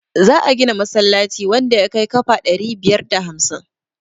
za a gina masallaci wanda ya kai kafa ɗari biyar da hamsin